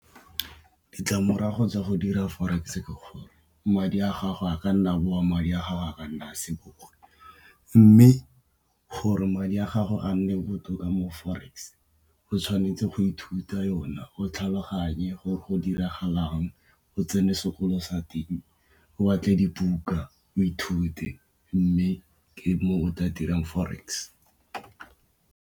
Ditlamorago tsa go dira Forex ke gore madi a gago a ka nna a boa, madi a gago a ka nna a se bowe. Mme, gore madi a gago a nne botoka mo Forex o tshwanetse go ithuta yona o tlhaloganye gore go diragalang o tsene sekolo sa teng o batle dibuka, o ithute mme ke mo o tla dirang Forex.